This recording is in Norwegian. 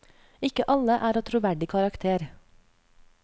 Ikke alle er av troverdig karakter.